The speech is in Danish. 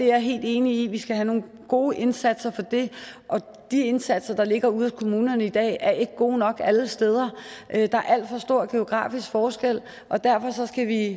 er helt enig i at vi skal have nogle gode indsatser til det og de indsatser der ligger ude hos kommunerne i dag er ikke gode nok alle steder der er alt for stor geografisk forskel og derfor skal vi